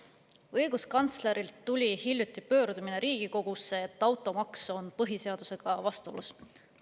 Õiguskantslerilt tuli hiljuti Riigikogusse pöördumine, et automaks on põhiseadusega vastuolus.